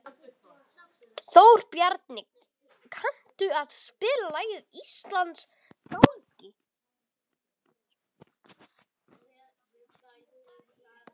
Þórbjarni, kanntu að spila lagið „Íslandsgálgi“?